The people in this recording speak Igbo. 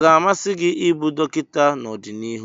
Ọ ga-amasị gị ịbụ dọkịta n'ọdịnihu?